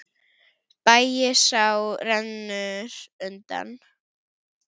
Bægisá rennur undan.